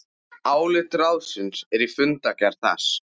Álit ráðsins er í fundargerð þess